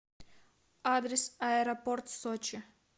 адрес аэропорт сочи